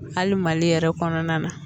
Hali mali yɛrɛ kɔnɔna na